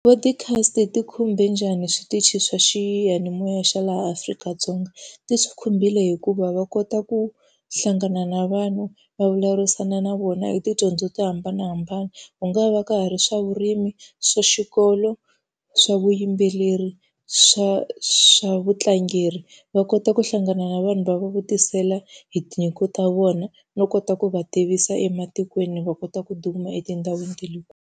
Ti-podcast ti khumbe njhani switichi swa xiyanimoya swa laha Afrika-Dzonga? Ti swi khumbile hikuva va kota ku hlangana na vanhu, va vulavurisana na vona hi tidyondzo to hambanahambana. Ku nga va ka ha ri swa vurimi, swa xikolo, swa vuyimbeleri, swa swa vutlangeri, va kota ku hlangana na vanhu va va vutisela hi tinyiko ta vona no kota ku va tivisa ematikweni va kota ku duma etindhawini ta le .